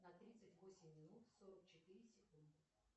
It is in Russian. на тридцать восемь минут сорок четыре секунды